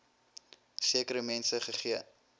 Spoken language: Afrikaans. sekere mense gegee